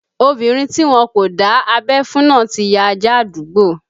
Obinrin ti wọn kò dá abẹ́ fún náà ti ya ajá àdúgbò